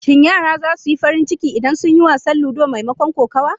Shin yaran za su yi farin ciki idan sun yi wasan ludo maimakon kokawa?